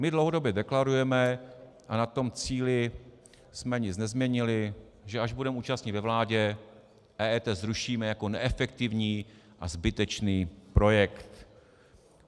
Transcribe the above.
My dlouhodobě deklarujeme, a na tom cíli jsme nic nezměnili, že až budeme účastni ve vládě, EET zrušíme jako neefektivní a zbytečný projekt.